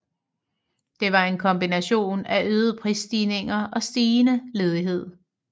Det var en kombination af øgede prisstigninger og stigende ledighed